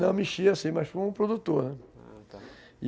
Não, mexia sim, mas como produtor, né, ah, tá.